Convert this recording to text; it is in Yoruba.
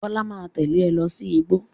Bọ́lá máa tẹ̀lé ẹ lọ sí igbó.